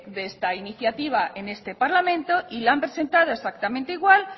de esta iniciativa en este parlamento y la han presentado exactamente igual